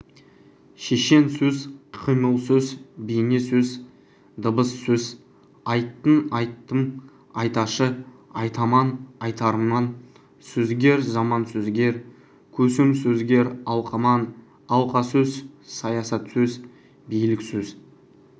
шешенсөз қимылсөз бейнесөз дыбыссөз айтын айтым айташы айтаман айтарман сөзгер заман сөзгер көсемсөзгер алқаман алқасөз саясатсөз биліксөз